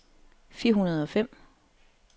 fire hundrede og fem